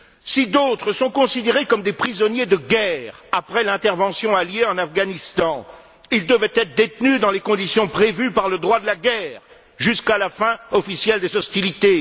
Si d'autres sont considérés comme des prisonniers de guerre après l'intervention alliée en Afghanistan, ils devaient être détenus dans les conditions prévues par le droit de la guerre jusqu'à la fin officielle des hostilités.